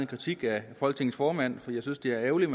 kritik af folketingets formand fordi jeg synes det er ærgerligt